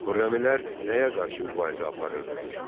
Xürrəmilər nəyə qarşı mübarizə aparırdılar?